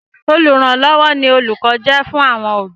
Olùrànlọ́wọ́ ni òlùkọ́ jẹ́ fún àwọn òbí.